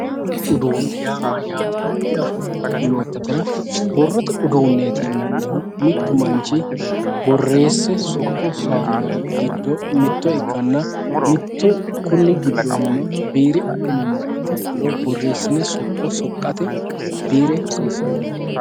Borrote uduunni maatiro diafoomma yoottatera borrote uduunni mittu manchi borreesse sokka sowaannorichi giddo mitto ikkanna mittu konni giddonni biire adhinummoro ikkiro borreessine sokko sowaate biire hasiissannonke.